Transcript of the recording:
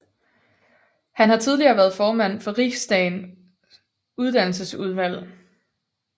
Han har tidligere været formand for Riksdagens uddannelsesudvalg